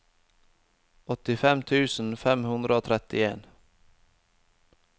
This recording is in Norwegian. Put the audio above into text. åttifem tusen fem hundre og trettien